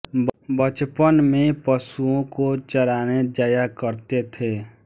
बचपन में पशुओं को चराने जाया करते थे